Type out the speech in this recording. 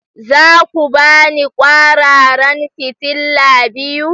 Za ku ba ni kwararan fitila biyu!